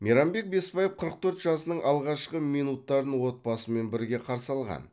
мейрамбек бесбаев қырық төрт жасының алғашқы минуттарын отбасымен бірге қарсы алған